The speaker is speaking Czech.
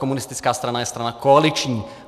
Komunistická strana je strana koaliční.